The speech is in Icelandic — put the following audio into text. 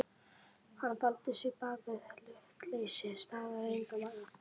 Hann faldi sig bak við hlutleysi staðreyndanna.